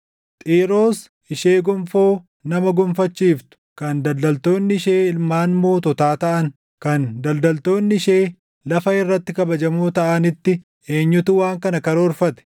Xiiroos ishee gonfoo nama gonfachiiftu kan daldaltoonni ishee ilmaan moototaa taʼan kan daldaltoonni ishee lafa irratti kabajamoo taʼanitti eenyutu waan kana karoorfate?